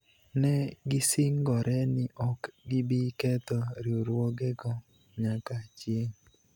ne gisingore ni ok gibi ketho riwruogego nyaka chieng�.